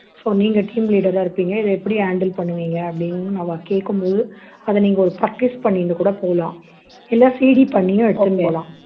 so நீங்க team leader ஆ இருப்பீங்க இதை எப்படி handle பண்ணுவீங்க அப்படின்னு அவா கேக்கும் போது அதை நீங்க ஒரு practice பண்ணிட்டு கூட போகலாம் இல்லை இல்ல CD பண்ணியும் எடுத்துட்டு போலாம்